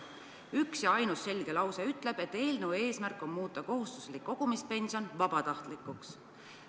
Üks ja ainus selge lause ütleb, et eelnõu eesmärk on muuta kohustuslik kogumispension vabatahtlikuks.